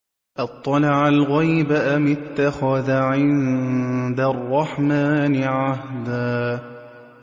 أَطَّلَعَ الْغَيْبَ أَمِ اتَّخَذَ عِندَ الرَّحْمَٰنِ عَهْدًا